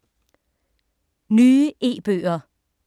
Nye e-bøger